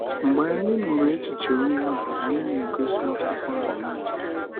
Mgbe anyị nụrụ echiche onye ahụ, anyị na-egosi akwụkwọ ahụ.